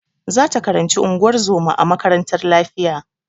Za ta karanci unguwar zoma a makarantar lafiya.